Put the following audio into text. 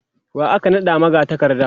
wa aka naɗa magatakarda?